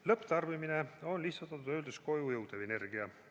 Lõpptarbimine on lihtsustatult öeldes koju jõudev energia.